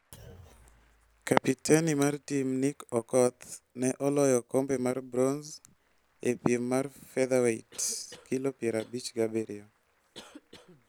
Kapiteni mar tim Nick Okoth ne oloyo okombe mar bronze e piem mar featherweight (kilo piero abich gi abiriyo).